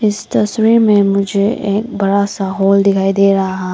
इस तस्वीर में मुझे एक बड़ा सा हॉल दिखाई दे रहा हैं।